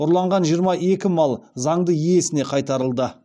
ұрланған жиырма екі мал заңды иесіне қайтарылды